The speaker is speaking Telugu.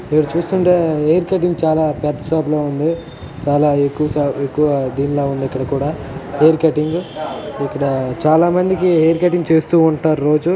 మీరు చూస్తుంటే హేర్ కట్టింగ్ చాలా పెద్ద సాప్ లా ఉంది. చాలా ఎక్కువ్ సా ఎక్కువ దీన్లా ఉంది ఇక్కడ కూడా హేర్ కట్టింగ్ ఇక్కడ చాలా మందికి హేర్ కట్టింగ్ చేస్తా ఉంటారు రోజూ